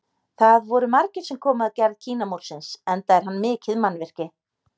Það voru margir sem komu að gerð Kínamúrsins enda er hann mikið mannvirki.